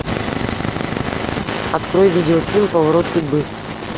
открой видео фильм поворот судьбы